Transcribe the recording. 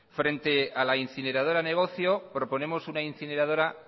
frente a la incineradora negocio proponemos una incineradora